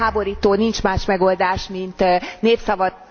Felháborító, nincs más megoldás, mint népszava...